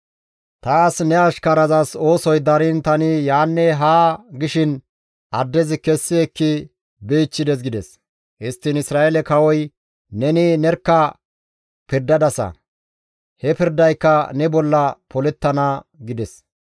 Taas ne ashkarazas oosoy dariin tani yaanne haa gishin addezi kessi ekki bichchides» gides. Histtiin Isra7eele kawoy, «Neni nerkka pirdadasa; he pirdayka ne bolla polettana» gides.